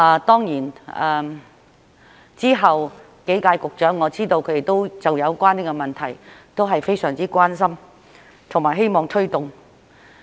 當然，之後幾屆局長，我知道他們都就有關問題都非常關心和希望推動。